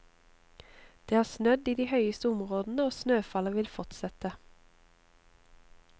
Det har snødd i de høyeste områdene, og snøfallet vil fortsette.